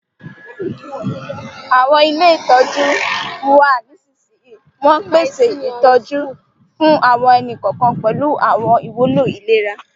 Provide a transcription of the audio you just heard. Àwọn ilé ìtọ́jú n wa nisinsinyi, won pese ìtójú fún àwọn ẹni-kọọkan pẹ̀lu àwọn ìwúló ìlera.